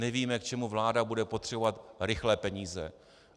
Nevíme, k čemu vláda bude potřebovat rychlé peníze.